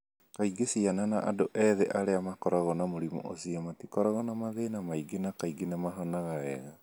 Kaingĩ ciana na andũ ethĩ arĩa makoragwo na mũrimũ ũcio matikoragwo na mathĩna maingĩ na kaingĩ nĩ mahonaga wega.